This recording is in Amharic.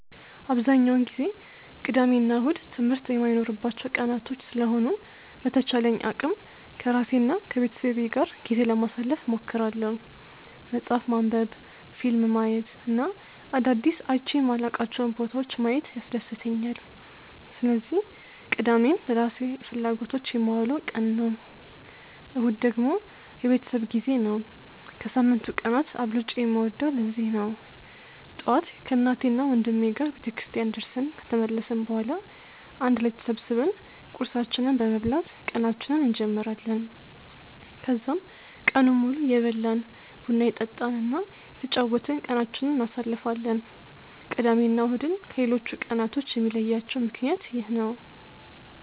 አብዛኛውን ጊዜ ቅዳሜ እና እሁድ ትምህርት የማይኖርባቸው ቀናቶች ስለሆኑ በተቻለኝ አቅም ከራሴ እና ከቤተሰቤ ጋር ጊዜ ለማሳለፍ እሞክራለሁ። መፅሀፍ ማንበብ፣ ፊልም ማየት እና አዳዲስ አይቼ የማላውቃቸውን ቦታዎች ማየት ያስደስተኛል። ስለዚህ ቅዳሜን ለራሴ ፍላጎቶች የማውለው ቀን ነው። እሁድ ደግሞ የቤተሰብ ጊዜ ነው። ከሳምንቱ ቀናት አብልጬ የምወደውም ለዚህ ነው። ጠዋት ከእናቴና ወንድሜ ጋር ቤተክርስቲያን ደርሰን ከተመለስን በኋላ አንድ ላይ ተሰብስበን ቁርሳችንን በመብላት ቀናችንን እንጀምራለን። ከዛም ቀኑን ሙሉ እየበላን፣ ቡና እየጠጣን እና እየተጫወትን ቀናችንን እናሳልፋለን። ቅዳሜ እና እሁድን ከሌሎቹ ቀናቶች የሚለያቸው ምክንያት ይህ ነው።